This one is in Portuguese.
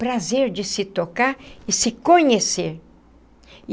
Prazer de se tocar e se conhecer.